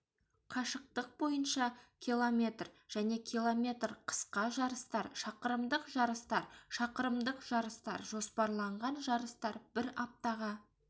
қашықтық бойынша км және км қысқа жарыстар шақырымдық жарыстар шақырымдық жарыстар жоспарланған жарыстар бір аптаға